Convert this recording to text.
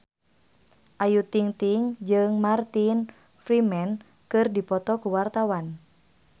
Ayu Ting-ting jeung Martin Freeman keur dipoto ku wartawan